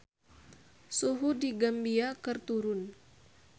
Suhu di Gambia keur turun